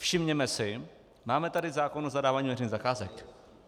Všimněme si, máme tady zákon o zadávání veřejných zakázek.